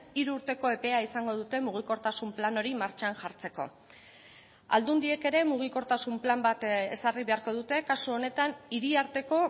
hiru urteko epea izango dute mugikortasun plan hori martxan jartzeko aldundiek ere mugikortasun plan bat ezarri beharko dute kasu honetan hiri arteko